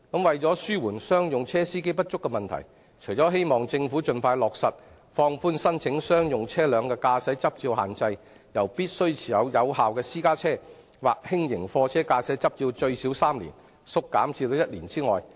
為紓緩商用車司機不足的問題，希望政府盡快落實放寬申請商用車輛駕駛執照的限制，由目前要求申請人必須持有有效私家車或輕型貨車駕駛執照最少3年縮減至1年。